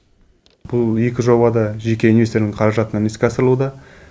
бұл жоба да жеке инвестордың қаражатынан іске асырылуда